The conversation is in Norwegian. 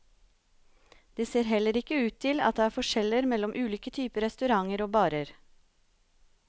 Det ser heller ikke ut til at det er forskjeller mellom ulike typer restauranter og barer.